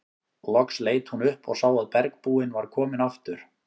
Loks leit hún upp og sá að bergbúinn var kominn aftur.